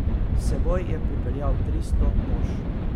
S seboj je pripeljal tristo mož.